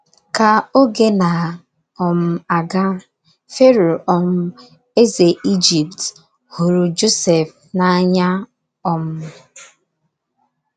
Ka oge na - um aga, Fero um eze Ijipt hụrụ Josef n’anya um.